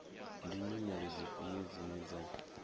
ndi nyimele dzifhio dzine dza